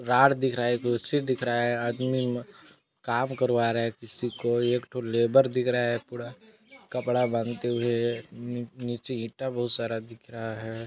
Rod दिख रहा है कुर्सी दिख रहा है आदमी काम करवा रहा है किसी को एक ठो लेबर दिख रहा है पूरा कपड़ा बॉंधते हुए नीचे ईंटा बहुत सारा दिख रहा है।